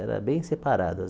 Era bem separado.